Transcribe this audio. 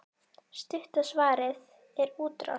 Stutta svarið er útrás.